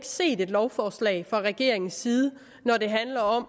set et lovforslag fra regeringens side når det handler om